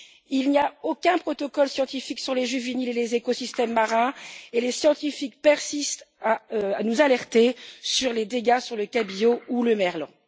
Il n'y a aucun protocole scientifique sur les juvéniles et les écosystèmes marins et les scientifiques persistent à nous alerter sur les dégâts sur le cabillaud ou le merlan